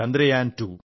Chandrayaan two